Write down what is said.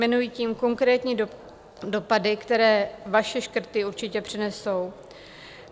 Jmenuji tím konkrétní dopady, které vaše škrty určitě přinesou.